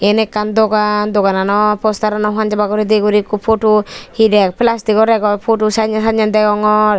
iyan ekkan Dogan Dogan ano poster ano hanjaba huredi guri ekku photo he der plastic o rag or photo sanne sanne degongor.